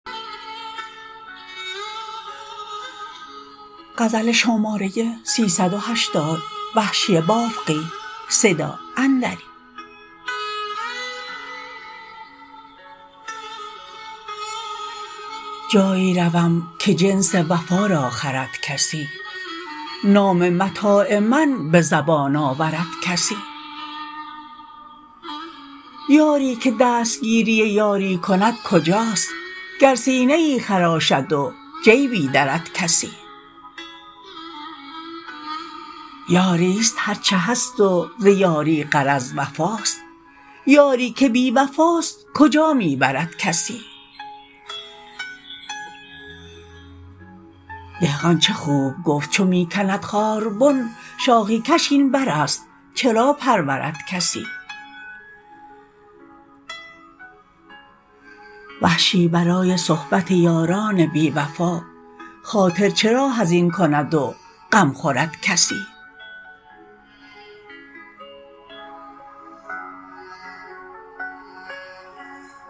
جایی روم که جنس وفا را خرد کسی نام متاع من به زبان آورد کسی یاری که دستگیری یاری کند کجاست گر سینه ای خراشد و جیبی درد کسی یاریست هر چه هست و ز یاری غرض وفاست یاری که بیوفاست کجا می برد کسی دهقان چه خوب گفت چو می کند خاربن شاخی کش این بر است چرا پرورد کسی وحشی برای صحبت یاران بی وفا خاطر چرا حزین کند و غم خورد کسی